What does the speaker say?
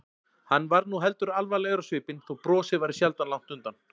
Hann varð nú heldur alvarlegri á svipinn þó brosið væri sjaldan langt undan.